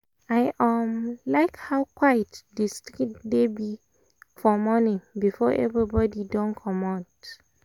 i um like how quiet the street dey be for morning before everybody um dey commot